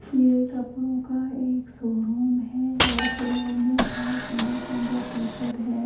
यह कपड़ों का एक शोरूम है और शोरूम में बोहोत सुंदर-सुंदर टी शर्ट है।